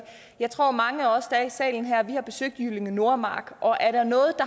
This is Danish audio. jeg tror mange af os der er i salen her har besøgt jyllinge nordmark og er der noget